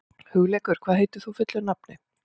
Hugleikur, hvað heitir þú fullu nafni?